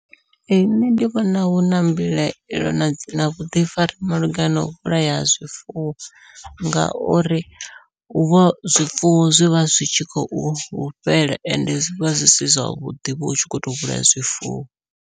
Ee nṋe ndi vhona huna mbilaelo na vhuḓifari malugana nau vhulaya ha zwifuwo, ngauri huvha zwifuwo zwivha zwi tshi khou fhela ende zwivha zwi si zwavhuḓi vho utshi kho to vhulaya zwifuwo.